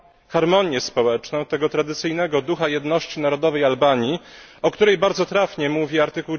harmonię społeczną, tego tradycyjnego ducha jedności narodowej Albanii, o których bardzo trafnie mówi art.